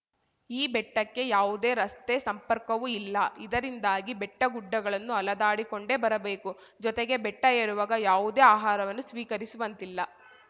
ಈ ಬೆಟ್ಟಕ್ಕೆ ಯಾವುದೇ ರಸ್ತೆ ಸಂಪರ್ಕವೂ ಇಲ್ಲ ಇದರಿಂದಾಗಿ ಬೆಟ್ಟಗುಡ್ಡಗಳನ್ನು ಅಲೆದಾಡಿಕೊಂಡೇ ಬರಬೇಕು ಜೊತೆಗೆ ಬೆಟ್ಟಏರುವಾಗ ಯಾವುದೇ ಆಹಾರವನ್ನು ಸ್ವೀಕರಿಸುವಂತಿಲ್ಲ